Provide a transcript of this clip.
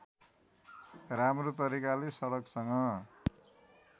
राम्रो तरिकाले सडकसँग